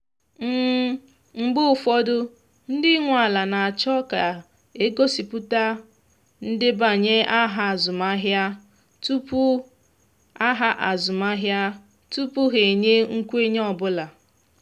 mgbe ụfọdụ ndị nwe ala na achọ ka a gosipụta ndebanye aha azụmahịa tupu aha azụmahịa tupu ha enye nkwenye ọ bụla